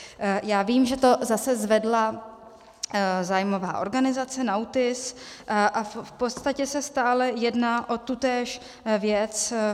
Já vím, že to zase zvedla zájmová organizace NAUTIS, a v podstatě se stále jedná o tutéž věc.